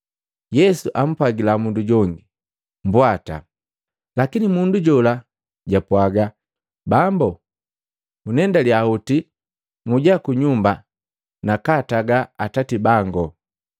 Yesu ampwagila mundu jongi, “Bwata.” Lakini mundu jola japwaga, “Bambu gunendaliya hoti muja ku nyumba nakaataga atati bango.”